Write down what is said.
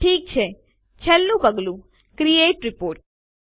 ઠીક છે છેલ્લું પગલું ક્રિએટ રિપોર્ટ